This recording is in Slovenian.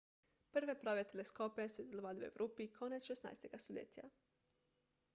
prve prave teleskope so izdelovali v evropi konec 16 stoletja